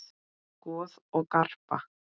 Goð og garpar